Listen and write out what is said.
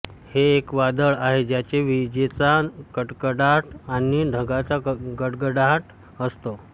हे एक वादळ आहे ज्याचे विजेचा कडकडाट आणि ढगांचा गडगडाट असतो